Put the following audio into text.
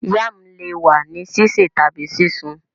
Yam le wa ni sise tabi sisun